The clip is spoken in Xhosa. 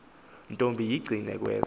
ntombi incinane kwezo